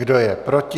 Kdo je proti?